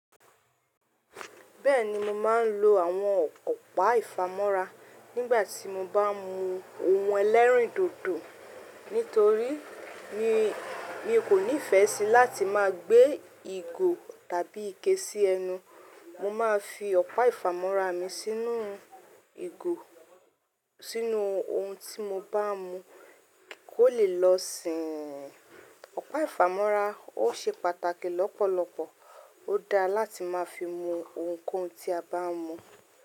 Bẹ́ẹ̀ni mo máà ń lo àwọn ọ̀pá ìfámọ́ra nígbà tí mo bá mú ohun ẹlẹ́rìndòdò, nítorí mi kò ní ìfẹ́ sí láti má gbé ìgò tàbí ike sí ẹnu. Mo máa fi ọ̀pá ìfámọ́ra mi sínú ìgò, sínú ohun tí mo bá mú kó lè lọ si. Ọ̀pá ìfámọ́ra ò ṣe pàtàkì lọ́pọ̀lọpọ̀. Ó dáa láti má fi mú ohunkóhun tí a bá mú.